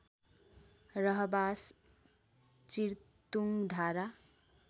रहबास Chirtungdhara